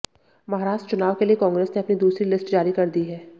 महाराष्ट्र चुनाव के लिए कांग्रेस ने अपनी दूसरी लिस्ट जारी कर दी है